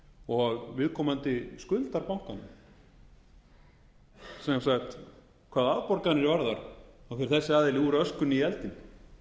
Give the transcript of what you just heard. og viðkomandi skuldar bankanum sem sagt hvað afborganir varðar fer þessi aðili úr öskunni í eldinn